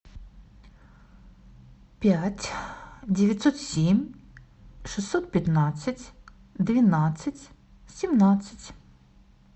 пять девятьсот семь шестьсот пятнадцать двенадцать семнадцать